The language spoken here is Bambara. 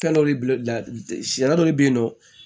Fɛn dɔ de sariya dɔ le bɛ yen nɔ